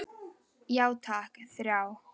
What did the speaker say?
Já takk, þrjá.